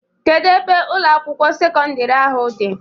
Kedu ebe Ụlọ akwụkwọ sekọndrị ahụ dị?